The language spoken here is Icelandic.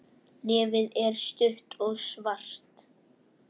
Nefið er stutt og svart.